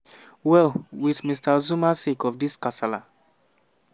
well wit mr zuma sake of di kasala